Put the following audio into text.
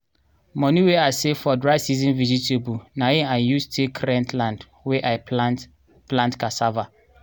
moni wey i save for dry season vegetable na hin i use take rent land wey i plant plant casssava.